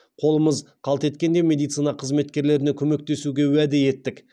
қолымыз қалт еткенде медицина қызметкерлеріне көмектесуге уәде еттік